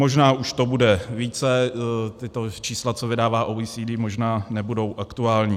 Možná už to bude více, tato čísla, co vydává OECD, možná nebudou aktuální.